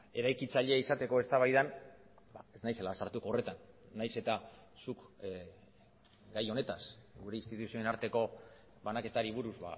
eraikitzaile izateko eztabaidan ez naizela sartuko horretan nahiz eta zuk gai honetaz gure instituzioen arteko banaketari buruz